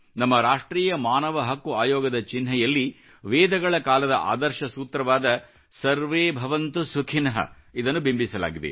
ನಮ್ಮ ರಾಷ್ಟ್ರೀಯ ಮಾನವ ಹಕ್ಕು ಆಯೋಗದ ಚಿನ್ಹೆಯಲ್ಲಿ ವೇದಗಳ ಕಾಲದ ಆದರ್ಶ ಸೂತ್ರವಾದ ಸರ್ವೇ ಭವಂತು ಸುಖಿನಃ ಇದನ್ನು ಬಿಂಬಿಸಲಾಗಿದೆ